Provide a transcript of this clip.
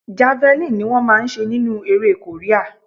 Javelin lọ máa ń ṣe nínú eré Korea.